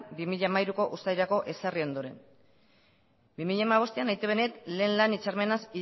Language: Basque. bi mila hamairuko uztailerako ezarri ondoren bi mila hamabostean eitb net lehen lan hitzarmenaz